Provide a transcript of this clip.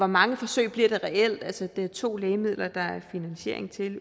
mange forsøg der reelt bliver altså der er to lægemidler der umiddelbart er finansiering til